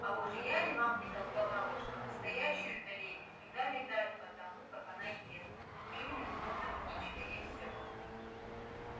а уж я ли вам не толковала что настоящую-то леди всегда видать по тому как она ест клюнет словно птичка и всё